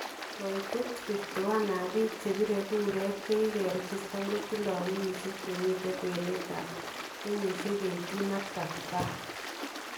Kaitetab 51 ab biik chebire kureet chekikirechestaan kotindo kenyisiek chemite kwenetab kenyisiek 18 ak 35 .